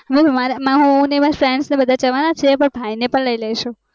હું મારા friends ને જવાના છીએ પણ મારા ભાઈ ને પણ લય લેશું